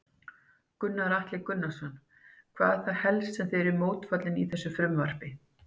Gunnar Atli Gunnarsson: Hvað er það helst sem þið eruð mótfallin í þessu frumvarpi?